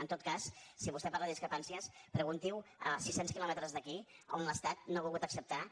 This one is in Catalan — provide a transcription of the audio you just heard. en tot cas si vostè parla de discrepàncies pregunti ho a sis cents quilòmetres d’aquí a on l’estat no ha volgut acceptar